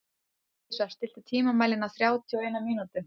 Lovísa, stilltu tímamælinn á þrjátíu og eina mínútur.